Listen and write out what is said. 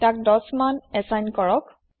তাক ১০ মান এচাইন কৰক